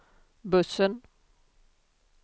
bussen